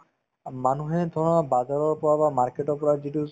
অ, মানুহে ধৰা bazar ৰৰ পৰা বা market ৰ পৰা যিটো